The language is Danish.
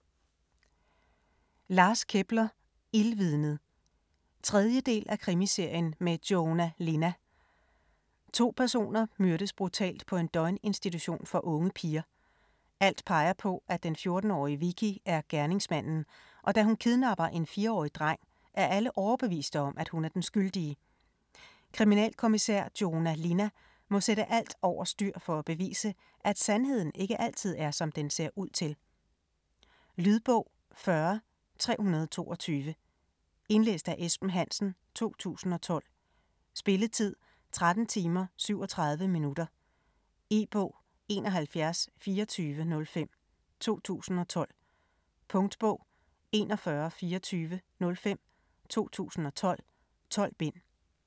Kepler, Lars: Ildvidnet 3. del af Krimiserien med Joona Linna. To personer myrdes brutalt på en døgninstitution for unge piger. Alt peger på, at den 14-årige Vicky er gerningsmanden, og da hun kidnapper en 4-årig dreng er alle overbeviste om, at hun er den skyldige. Kriminalkommissær Joona Linna må sætte alt over styr for at bevise, at sandheden ikke altid er som den ser ud til. Lydbog 40322 Indlæst af Esben Hansen, 2012. Spilletid: 13 timer, 37 minutter. E-bog 712405 2012. Punktbog 412405 2012. 12 bind.